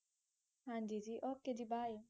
ਹਾਂਜੀ ਜੀ okay ਜੀ bye